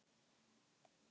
Þú ert klár stelpa